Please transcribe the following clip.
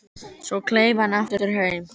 Svo kleif hann aftur heim.